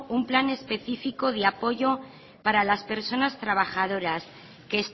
un plan especifico de apoyo para las personas trabajadoras que